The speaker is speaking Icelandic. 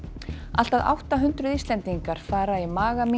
allt að átta hundruð Íslendingar fara í